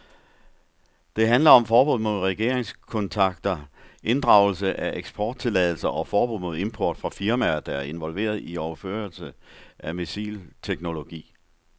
Det handler om forbud mod regeringskontakter, inddragelse af eksporttilladelser og forbud mod import fra firmaer, der er involveret i overførelser af missilteknologi.